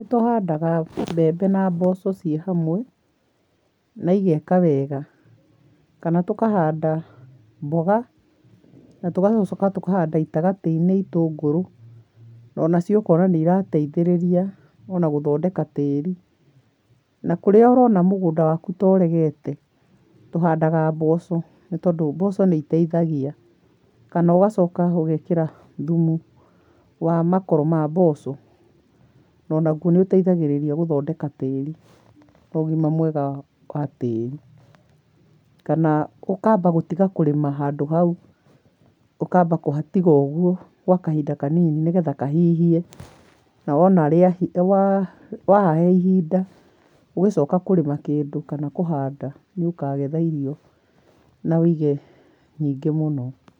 Nĩ tũhandaga mbembe na mboco ciĩ hamwe na igeka wega. Kana tũkahanda mboga na tũgacoka tũkahanda itagatĩ-inĩ itũngũrũ na onacio ũkona nĩ irateithĩrĩria ona gũthondeka tĩri. Na kũrĩa ũrona mũgũnda waku ta ũregete, tũhandaga mboco nĩ tondũ mboco nĩ iteithagia kana ũgacoka ũgekĩra thumu wa makoro ma mboco, onaguo nĩ ũteithagĩrĩria gũthondeka tĩri na ũgima mwega wa tĩri. Kana ũkamba gũtiga kũrĩma handũ hau, ũkamba kũhatiga ũguo gwa kahinda kanini nĩgetha kahihie, na wona, wa, wahahe ihinda, ũgĩcoka kũrĩma kĩndũ kana kũhanda nĩ ũkagetha irio na wĩige nyingĩ mũno.